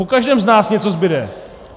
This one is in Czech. Po každém z nás něco zbude.